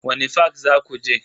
Wani fak zaku je?